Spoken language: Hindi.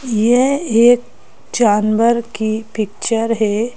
यह एक जानवर की पिक्चर है।